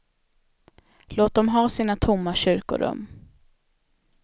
Låt dem ha sina tomma kyrkorum.